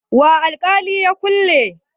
wa alkalin ya kulle?